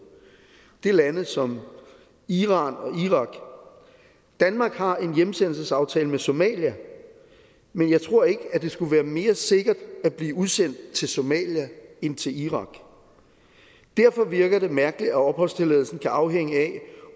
det er lande som iran og irak danmark har en hjemsendelsesaftale med somalia men jeg tror ikke at det skulle være mere sikkert at blive udsendt til somalia end til irak derfor virker det mærkeligt at opholdstilladelsen skal afhænge af